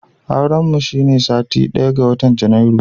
Auren mu shine satin daya ga watan Janairu